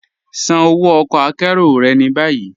Ṣàn ọwọ ọ̀kọ àkéró rẹ̀ ni bayi.